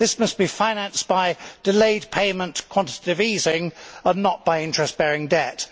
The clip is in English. This must be financed by delayed payment quantitative easing and not by interest bearing debt.